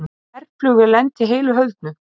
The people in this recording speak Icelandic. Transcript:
Herflugvél lenti heilu og höldnu